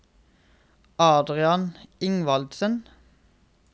Adrian Ingvaldsen